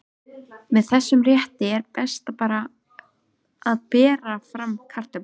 Með þessum rétti er best að bera fram kartöflur.